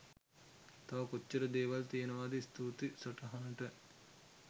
තව කොච්චර දේවල් තියෙනවද ස්තුතියි සටහනට .